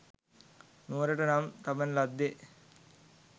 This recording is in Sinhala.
නුවරට නම් තබන ලද්දේ